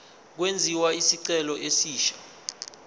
kwenziwe isicelo esisha